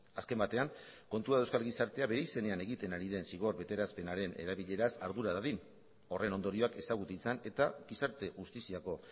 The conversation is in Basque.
azken batean kontua da euskal gizartea bere izenean egiten ari den zigor betearazpenaren erabileraz ardura dadin horren ondorioak ezagutu ditzan eta gizarte justiziako